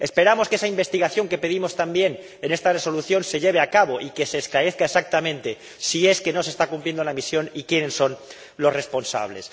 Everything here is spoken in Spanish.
Esperamos que esa investigación que pedimos también en esta Resolución se lleve a cabo y que se esclarezca exactamente si no se está cumpliendo la misión y quiénes son los responsables.